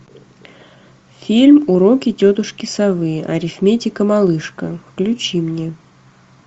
фильм уроки тетушки совы арифметика малышка включи мне